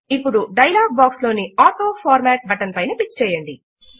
ఇప్పుడు dialog box లోని autoformat button పైన క్లిక్ చేయండి